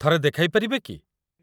ଥରେ ଦେଖାଇପାରିବେ କି?